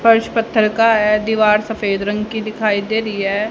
फर्श पत्थर का है दीवार सफेद रंग की दिखाई दे रही है।